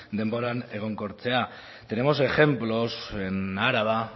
denboran egonkortzea tenemos ejemplos en araba